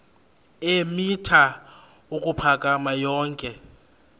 eemitha ukuphakama yonke